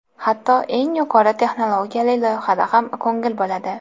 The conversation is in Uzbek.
Hatto eng yuqori texnologiyali loyihada ham ko‘ngil bo‘ladi.